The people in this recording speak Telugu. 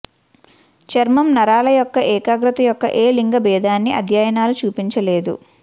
చర్మం నరాల యొక్క ఏకాగ్రత యొక్క ఏ లింగ భేదాన్ని అధ్యయనాలు చూపించలేదు